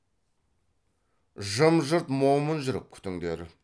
жым жырт момын жүріп күтіңдер